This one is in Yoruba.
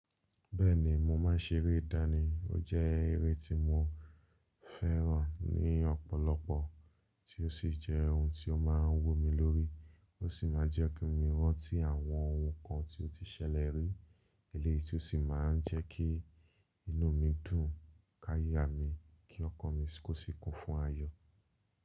Bẹ́ẹ̀ni mo máà ń ṣeré ìdáni. Ó jẹ́ eré tí mo fẹ́ràn ní ọ̀pọ̀lọpọ̀ tí ó sì jẹ́ oun tí ó máa ń wu mi lórí. Ó sì máa ń jẹ́ kí mo rántí àwọn oun kan tí ó ti ṣẹlẹ̀ rí, èleyi ti ó sì máa ń jẹ́ kí inú mi dùn káyá mi kí ọ̀kan mi kò sì kún fún ayọ̀.